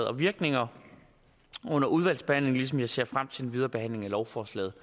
og virkninger under udvalgsbehandlingen ligesom jeg ser frem til den videre behandling af lovforslaget